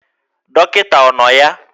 Dọkịta ọ nọ ya?